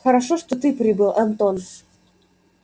хорошо что ты прибыл антон